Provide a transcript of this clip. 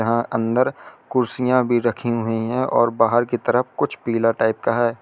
अंदर कुर्सियां भी रखी हुई हैं और बाहर की तरफ कुछ पिला टाइप का है।